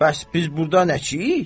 Bəs biz burda nəçiyik?